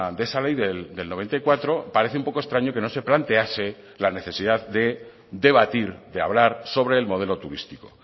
de esa ley del noventa y cuatro parece un poco extraño que no se plantease la necesidad de debatir de hablar sobre el modelo turístico